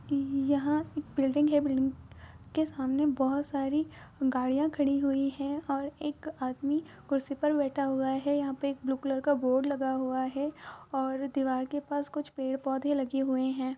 यहाँ एक बिल्डिंग हैं बिल्डिंग के सामने बहुत सारी गाड़ियाँ खड़ी हुई हैं और एक आदमी कुर्सी पर बैठा हुआ हैं यहाँ पर एक ब्लू कलर का बोर्ड लगा हुआ हैं और दीवाल के पास कुछ पेड़ - पौधे लगे हुए हैं।